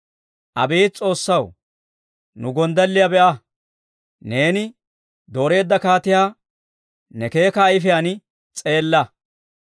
Abeet S'oossaw, nu gonddalliyaa be'a; neeni dooreedda kaatiyaa ne keeka ayifiyaan s'eella.